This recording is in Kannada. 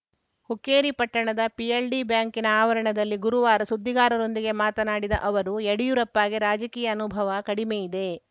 ಹುಕ್ಕೇರಿ ಪಟ್ಟಣದ ಪಿಎಲ್‌ಡಿ ಬ್ಯಾಂಕ್‌ನ ಆವರಣದಲ್ಲಿ ಗುರುವಾರ ಸುದ್ದಿಗಾರರೊಂದಿಗೆ ಮಾತನಾಡಿದ ಅವರು ಯಡಿಯೂರಪ್ಪಗೆ ರಾಜಕೀಯ ಅನುಭವ ಕಡಿಮೆಯಿದೆ